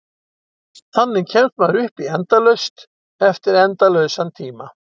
Þannig kemst maður upp í endalaust eftir endalausan tíma.